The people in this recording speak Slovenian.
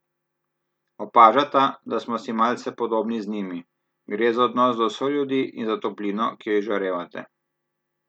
Opažata, da smo si malce podobni z njimi: "Gre za odnos do soljudi in za toplino, ki jo izžarevate.